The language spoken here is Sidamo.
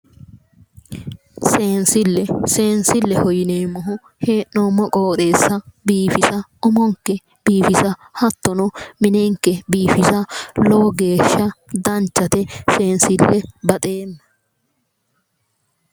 Seensille seensilleho yineemmo woyiite hee'neemmo qoxeessa biifisa umonke biifisa hattono minenke biifisa lowo geeshsha danchhate seensille baxeemma